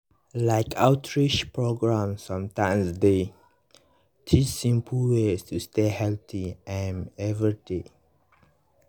like outreach programs sometimes dey teach simple ways to stay healthy um everyday.